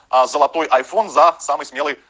а золотой айфон за самый смелый